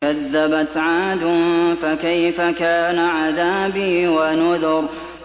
كَذَّبَتْ عَادٌ فَكَيْفَ كَانَ عَذَابِي وَنُذُرِ